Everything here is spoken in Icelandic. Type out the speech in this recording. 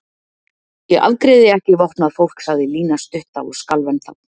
Ég afgreiði ekki vopnað fólk sagði Lína stutta og skalf ennþá.